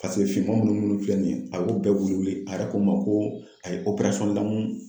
finma munnu filɛ nin ye a y'o bɛɛ wili wili, a yɛrɛ ko n ma ko a ye lamun